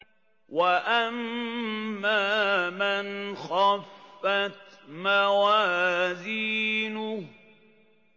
وَأَمَّا مَنْ خَفَّتْ مَوَازِينُهُ